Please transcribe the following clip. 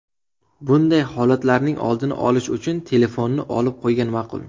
Bunday holatlarning oldini olish uchun telefonni olib qo‘ygan ma’qul.